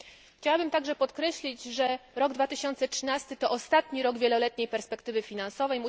Chciałabym także podkreślić, że rok 2013, to ostatni rok wieloletniej perspektywy finansowej.